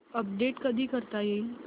update कधी करता येईल